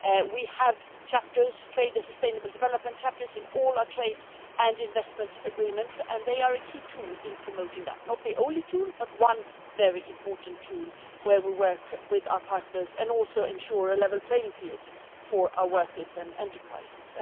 We have trade and sustainable development chapters in all our trade and investment agreements, and they are a key tool in promoting that not the only tool, but a very important one that allows us to work with our partners and ensure a level playing field for our workers and enterprises.